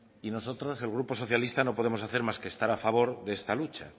y nosotros el grupo socialista no podemos hacer más que estar a favor de esta lucha